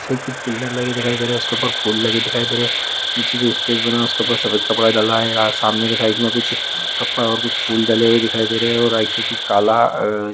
कुछ पिलर लगे दिखाई दे रहे है। उसके ऊपर फूल लगे दिखाई दे रहे है। नीचे जो स्टेज बना है। उसके ऊपर सफेद कपड़ा डाला है। सामने के साइड में कुछ कपड़े और कुछ फूल डले हुए दिखाई दे रहे है। और राइट साइड में काला--